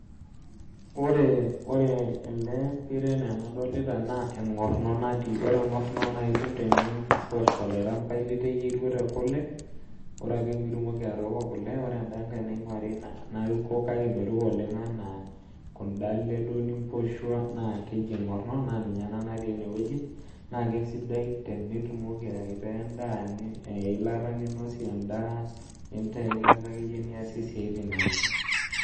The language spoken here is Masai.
Ore ore ele pira enaa enadolita naa eng'orrno natii ore eng'orrno naa itum tenimposh olairambai liteyieruo tekule ore ake pitumoki atooko kule ore enda nkae naing'uari naruko kake meruko oleng enaa kunda ale duo nimposhua naa keji eng'orrno naa ninye ena natii enewueji naa kesidai tenitumoki aitaa endaa eilata ninosie endaa nintaa eilata akeyie niasie isiaitin naje.